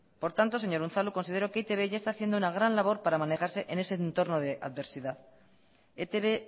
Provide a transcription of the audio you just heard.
por tanto señor unzalu considero que e i te be ya está haciendo una gran labor para manejarse en ese entorno de adversidad e te be